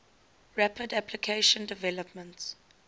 rapid application development